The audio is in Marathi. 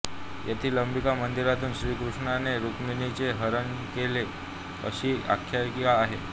येथील अंबिका मंदिरातून श्रीकृष्णाने रुक्मिणीचे हरण केले अशी आख्यायिका आहे